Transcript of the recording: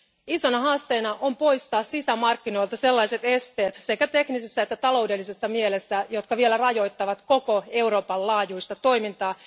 Isona haasteena on poistaa sisämarkkinoilta sellaiset esteet sekä teknisissä että taloudellisessa mielessä, jotka vielä rajoittavat koko Euroopan laajuista toimintaa.